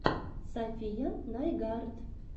сафия найгард